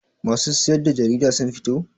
Masu siyar da jarida sun fito?